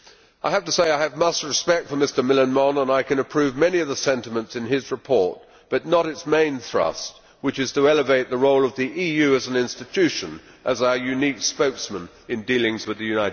I have to say that I have much respect for Mr Millán Mon and I can approve many of the sentiments in his report, but not its main thrust, which is to elevate the role of the EU as an institution as our unique spokesman in dealings with the United States.